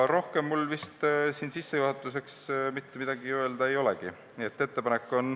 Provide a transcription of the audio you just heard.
Rohkem mul sissejuhatuseks mitte midagi öelda ei olegi.